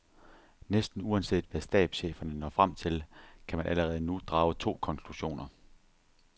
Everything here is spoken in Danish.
Næsten uanset hvad stabscheferne når frem til, kan man allerede nu drage to konklusioner.